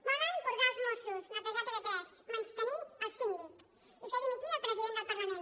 volen purgar els mossos netejar tv3 menystenir el síndic i fer dimitir el president del parlament